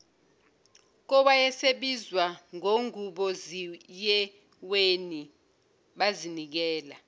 kowayesebizwa ngonguboziyeweni bazinikela